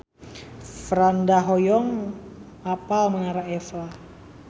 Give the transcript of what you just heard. Franda hoyong apal Menara Eiffel